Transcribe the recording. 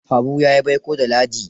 Habu ya yi baiko da Ladi.